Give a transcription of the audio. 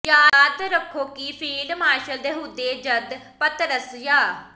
ਯਾਦ ਰੱਖੋ ਕਿ ਫੀਲਡ ਮਾਰਸ਼ਲ ਦੇ ਅਹੁਦੇ ਜਦ ਪਤਰਸ ਯਾ